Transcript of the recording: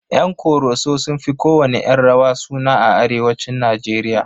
Yan ƙoroso sun fi kowanne 'yan rawa suna a arewacin Najeriya.